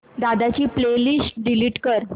दादा ची playlist delete कर